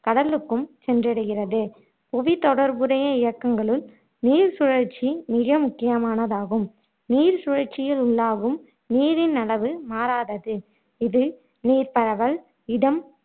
கடலுக்கும் சென்றடைகிறது புவித்தொடர்புடைய இயக்கங்களுள் நீர்ச்சுழற்சி மிக முக்கியமானதாகும் நீர்ச் சுழற்சியில் உள்ளாகும் நீரின் அளவு மாறாதது இது நீர்பரவல் இடம்